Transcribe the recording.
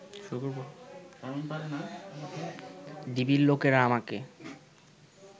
ডিবির লোকেরা আমাকে